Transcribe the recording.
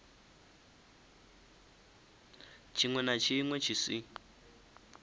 tshiṅwe na tshiṅwe tshi si